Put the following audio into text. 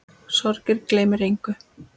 Sorgin gleymir engum.